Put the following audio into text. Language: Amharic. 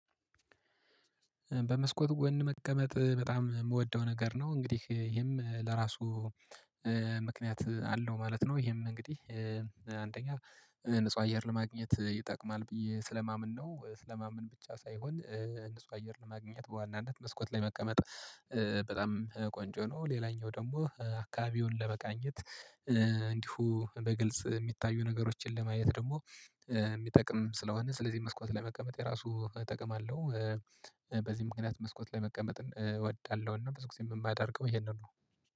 በመስኮት ጎን መቀመጥ በጣም የምወደው ነገር ነው። እንግዲህ ይሄም ለራሱ አለው ማለት ነው። ይሄም እንግዲህ አንደኛ ንጹህ አየር ለማግኘት ይጠቅማል ብዬ ስለማመን ነው ስለማመን ብቻ ሳይሆን ንጹህ አየር ለማግኘት በዋናነት መስኮት ላይ መቀመጥ ቆንጆ ነው። ሌላኛው ደግሞ አካባቢውን ለመቃኘት እንዲሁ በግልጽ የሚታዩ ነገሮችን ለማየት ደግሞ የሚጠቅም ስለሆነ ስለዚህ መስኮት ለመቀመጥ የራሱ ጠቀም አለው። በዚህ ምክንያት መስኮት ላይ መቀመጥ እወዳለሁና ብዙ ጊዜ የማደርገው ይሄንን ነው